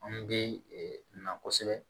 Anw bɛ na kosɛbɛ